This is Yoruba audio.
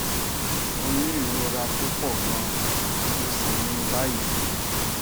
mo ni ìrora tó pọ gan mo sì ní i báyìí